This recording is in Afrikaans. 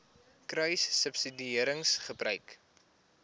kruissubsidiëringgebruik